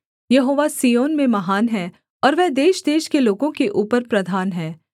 यहोवा Zion में महान है और वह देशदेश के लोगों के ऊपर प्रधान है